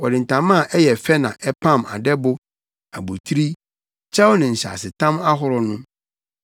Wɔde ntama a ɛyɛ fɛ na ɛpam adɛbo, abotiri, kyɛw ne nhyɛasetam ahorow no.